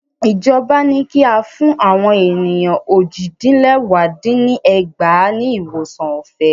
Ìjọba ní kí a fún àwọn ènìyàn ójì dín lẹwá dín ní ẹgbàá ní ìwòsàn ọ̀fẹ́